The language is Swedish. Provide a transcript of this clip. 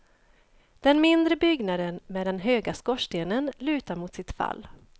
Den mindre byggnaden, med den höga skorstenen, lutar mot sitt fall.